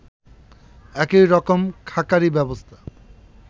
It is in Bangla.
একই রকম ‘খাঁকারি’ ব্যবস্থা